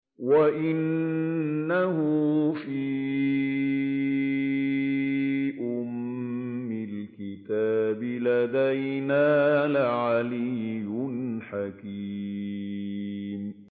وَإِنَّهُ فِي أُمِّ الْكِتَابِ لَدَيْنَا لَعَلِيٌّ حَكِيمٌ